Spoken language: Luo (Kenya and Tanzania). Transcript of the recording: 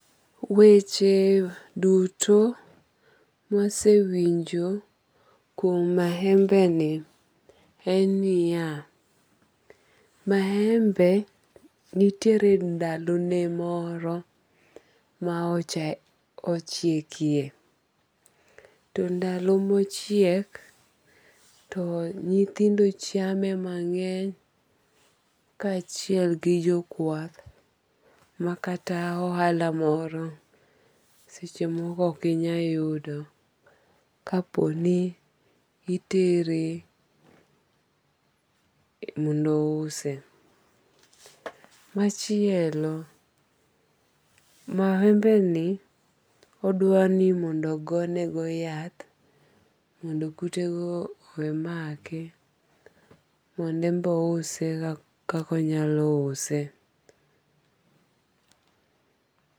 Weche duto masewinjo kuom mahembe ni en niya. Mahembe nitiere ndalo ne moro ma ochiekie. To ndalo mochiek to nyithindo chame mang'eny ka achiel gi jo kwath ma kata ohala moro seche moko ok inyal yudo kapo ni itere mondo ouse. Machielo, mahembe ni odwa ni mondo ogo ne go yath mondo kute go owe make mondo en be ouse kaka onya use.